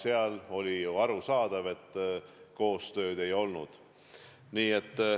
Ja oli ju arusaadav, et koostööd ei olnud.